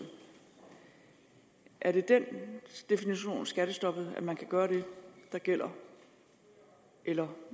er det den definition af skattestoppet altså at man kan gøre det der gælder eller